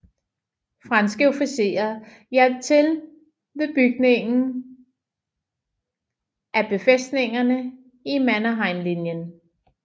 Franske officerer hjalp til ved bygningen af befæstningerne i Mannerheimlinjen